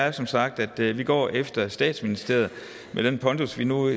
er som sagt at vi går efter statsministeriet med den pondus vi nu